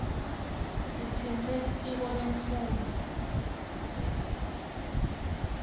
sitsintse litiko lemfundvo